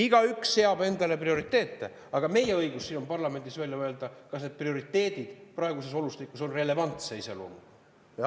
Igaüks seab endale ise prioriteete, aga meie õigus parlamendis on välja öelda, kas need prioriteedid praeguses olukorras on relevantse iseloomuga.